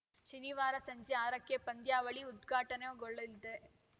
ಶನಿವಾರ ಸಂಜೆ ಆರಕ್ಕೆ ಪಂದ್ಯಾವಳಿ ಉದ್ಘಾಟನೆಗೊಳ್ಳಲಿದೆ